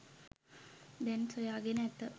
දැන් සොයාගෙන ඇත.